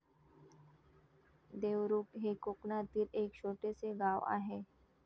देवरुख हे कोकणातील एक छोटेसे गाव आहे.